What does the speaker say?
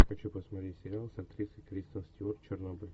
хочу посмотреть сериал с актрисой кристиан стюарт чернобыль